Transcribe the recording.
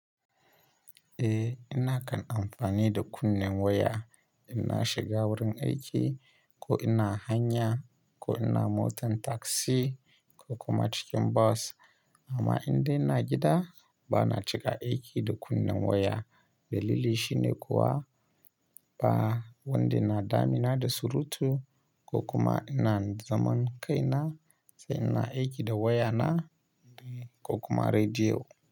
Eh, ina kan amfani da kunnen waya ina shiga wurin aiki ko ina hanya ko ina motar taksi ko kuma cikin bas. Amma inda ina gida ba na cika aiki da kunnen waya. Dalili shi ne kuwa ba wanda na dami na da surutu ko kuma ina zaman kaina sai ina aiki da wayana ne ko kuma rediyo.